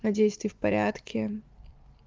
надеюсь ты в порядке